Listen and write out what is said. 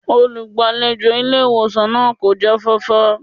Olùgbàlejò ilé ìwòsàn náà kò jáfáfá